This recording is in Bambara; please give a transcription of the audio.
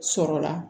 Sɔrɔla